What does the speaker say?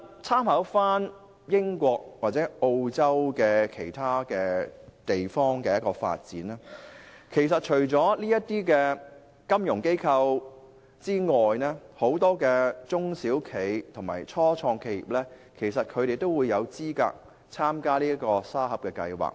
參考英國及澳洲等地的經驗，我們會發現，當地除了金融機構外，很多中小企及初創企業亦有資格參與沙盒計劃。